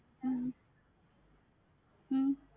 ஹம் உம்